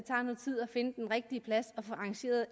finde den rigtige plads og få arrangeret